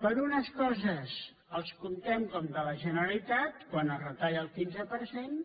per a unes coses els compten com de la generalitat quan es retalla el quinze per cent